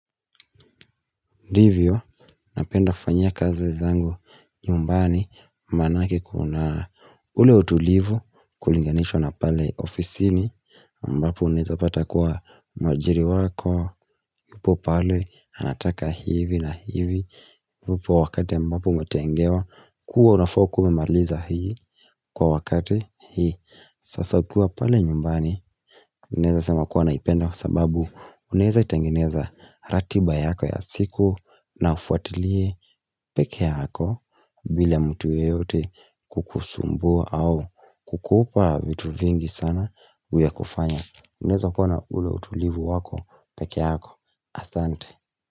Ndivyo, napenda kufanyia kazi zangu nyumbani manake kuna ule utulivu kulinganishwa na pale ofisini ambapo unaeza pata kuwa mwajiri wako yupo pale anataka hivi na hivi yupo wakati ambapo umetengewa kuwa unafaa kuwa umemaliza hii kwa wakate hii Sasa ukiwa pale nyumbani ninaeza sema kuwa naipenda kwa sababu unaeza itengeneza ratiba yako ya siku na ufuatilie peke yako bila mtu yeyote kukusumbua au kukupa vitu vingi sana ya kufanya. Unaeza kuwa na ule utulivu wako pekee yako. Asante.